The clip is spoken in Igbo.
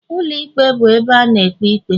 Ụlọ ikpe bụ ụlọ ebe a na-ekpe ikpe